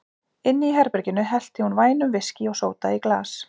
Inni í herberginu hellti hún vænum viskí og sóda í glas.